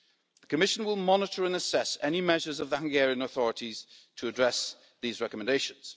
The Commission will monitor and assess any measures taken by the Hungarian authorities to address these recommendations.